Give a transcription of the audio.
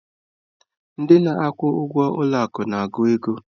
Ndị na-akwụ ụgwọ ụlọ akụ na-agụ ego.